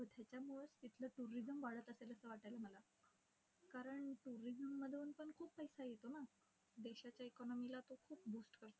त्यामुळंच तिथलं tourism वाढत असेल असं वाटायलंय मला. कारण tourism मधून पण खूप पैसा येतो ना. देशाच्या economy ला तो खूप boost करतो.